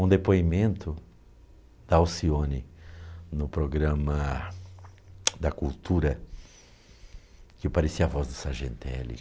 Um depoimento da Alcione no programa da Cultura, que eu parecia a voz do Sargentelli.